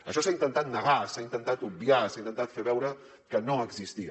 això s’ha intentat negar s’ha intentat obviar s’ha intentat fer veure que no existia